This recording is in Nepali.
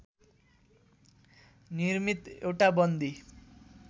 निर्मित एउटा बन्दी